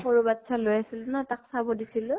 সৰু বাচ্ছা লৈ আছিলো ন, তাক চাব দিছিলো